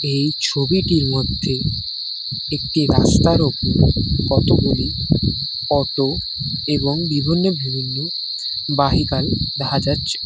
এই ছবিটির মধ্যে একটি রাস্তার ওপর কতগুলি অটো এবং বিভিন্ন ভিবিন্ন বাহিকাল দেখা যাচ্ছে।